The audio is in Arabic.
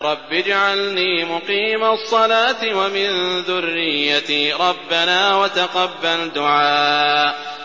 رَبِّ اجْعَلْنِي مُقِيمَ الصَّلَاةِ وَمِن ذُرِّيَّتِي ۚ رَبَّنَا وَتَقَبَّلْ دُعَاءِ